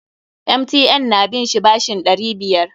MTN na bin shi bashin ɗari biyar.